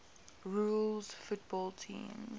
rules football teams